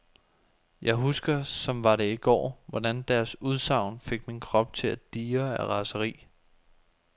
Jeg husker, som var det i går, hvordan deres udsagn fik min krop til at dirre af raseri.